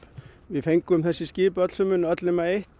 við fengum þessi skip öllsömul öll nema eitt